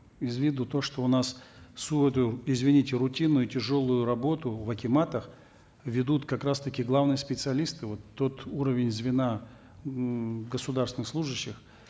из виду то что у нас всю эту извините рутинную тяжелую работу в акиматах ведут как раз таки главные специалисты вот тот уровень звена ммм государственных служащих